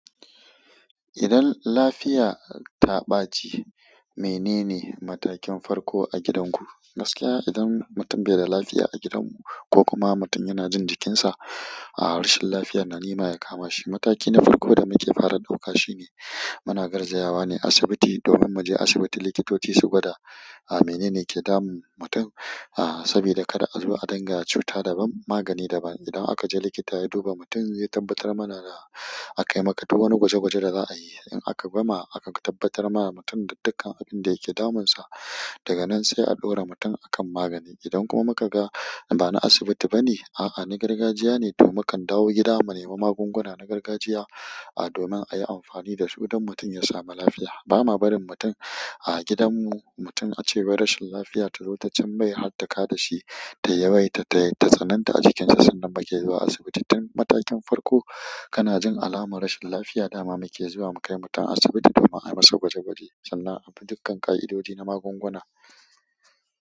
Idan lafiya ta ɓaci, menene matakin farko a gidanku? Gaskiya idan mutum bai da lafiya a gidanmu ko kuma mutum yana jin jikinsa a rashin lafiya, na nema ya kama shi. Mataki na farko da muke fara ɗauka shi ne muna garzayawa ne asibiti domin mu je asibiti. Likitoci su gwada menene ke damun mutum. A saboda kada a zo a danga cuta daban magani daban. Idan aka je likita ya duba mutum, ya tabbatar mana da a kai maka duka wani gwaje-gwaje da za a yi. In aka gama, akan tabbatar ma mutum da dukkan abin da yake damunsa. Daga nan sai a ɗora mutum a kan magani. Idan kuma muka ga ba na asibiti bane, a'a na gargajiya ne, to mukan dawo gida mu nemi magunguna na gargajiya domin a yi amfani da su don mutum ya samu lafiya. Ba ma barin mutum a gidanmu mutum ace wai rashin lafiya tazo ta cimmai bai har ta kada shi ta yawaita ta tsananta a jikinsa sannan bakai zuwa asibiti. Tun matakin farko, kana jin alamar rashin lafiya, dama muke zuwa mu kai mutum asibiti domin a yi masa gwaje-gwaje sannan abi dukkan ƙa'idodi na magunguna.